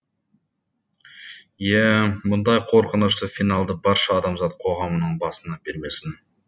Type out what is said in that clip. иә мұндай қорқынышты финалды барша адамзат қоғамының басына бермесін